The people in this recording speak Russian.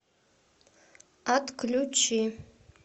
отключи